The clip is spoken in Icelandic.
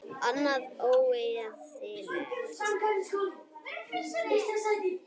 Annað væri óeðlilegt.